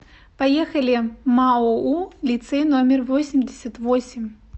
поехали маоу лицей номер восемьдесят восемь